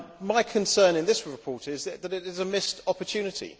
My concern with this report is that it is a missed opportunity.